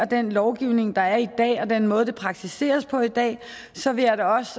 den lovgivning der er i dag og den måde det praktiseres på i dag så vil jeg da også